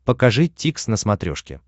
покажи дтикс на смотрешке